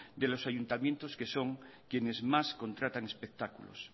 de los ayuntamientos que son quienes más contratan espectáculos